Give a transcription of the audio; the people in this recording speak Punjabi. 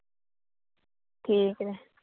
ਠੀਕ ਐ।